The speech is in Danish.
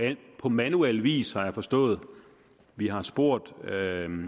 på manuel vis har jeg forstået vi har spurgt